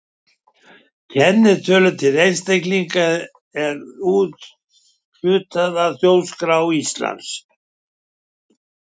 Kennitölum til einstaklinga er úthlutað af Þjóðskrá Íslands.